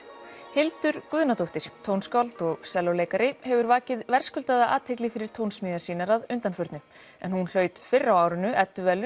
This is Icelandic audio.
Hildur Guðnadóttir tónskáld og sellóleikari hefur vakið verðskuldaða athygli fyrir tónsmíðar sínar að undanförnu en hún hlaut fyrr á árinu